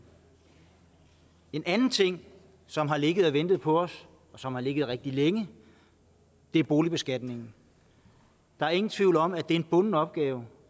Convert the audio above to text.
en anden ting som har ligget og ventet på os og som har ligget rigtig længe er boligbeskatningen der er ingen tvivl om at det er en bunden opgave